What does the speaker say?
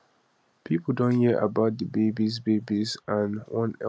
pipo don hear about di babies babies and wan help